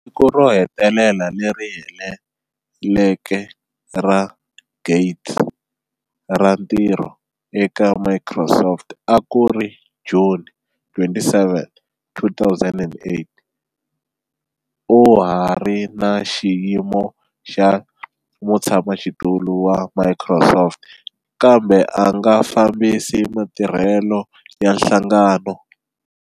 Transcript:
Siku ro hetelela leri heleleke ra Gates ra ntirho eka Microsoft a ku ri June 27, 2008. U ha ri na xiyimo xa mutshamaxitulu wa Microsoft kambe a nga fambisi matirhelo ya nhlangano.